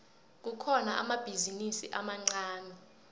kukhona amabhizinisi amancani